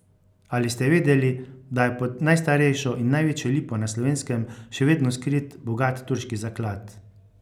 Ali ste vedeli, da je pod najstarejšo in največjo lipo na Slovenskem še vedno skrit bogat turški zaklad?